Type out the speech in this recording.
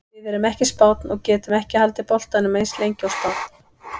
Við erum ekki Spánn og getum ekki haldið boltanum eins lengi og Spánn.